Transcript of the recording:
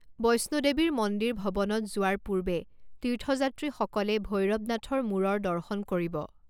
বৈষ্ণো দেৱীৰ মন্দিৰ ভৱনত যোৱাৰ পূৰ্বে তীৰ্থযাত্ৰীসকলে ভৈৰবনাথৰ মূৰৰ দৰ্শন কৰিব।